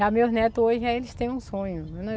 Já meus netos hoje, já eles têm um sonho.